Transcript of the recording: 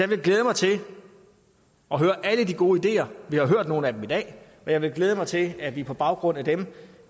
vil glæde mig til at høre alle de gode ideer vi har hørt nogle af dem i dag og jeg vil glæde mig til at vi på baggrund af dem